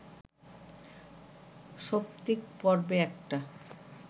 সৌপ্তিক পর্বে একটা